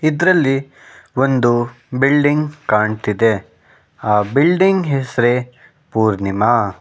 ಇದ್ರಲ್ಲಿ ಒಂದು ಬಿಲ್ಡಿಂಗ್ ಕಾಣ್ತಿದೆ ಆ ಬಿಲ್ಡಿಂಗ್ ಹೆಸರೇ ಪೂರ್ಣಿಮಾ.